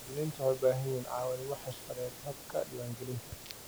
Muwaaddiniintu waxay u baahan yihiin caawimo xirfadeed habka diiwaangelinta.